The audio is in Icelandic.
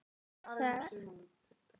Þar er nú Sigtún.